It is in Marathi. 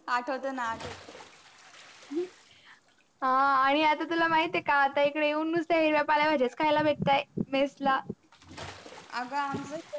आठवत न अ आनि आता तुला माहित आहे का इकडे येऊन नुस्ता हिरव्या पळ्या भाज्या खायला भेटय mess ला आग.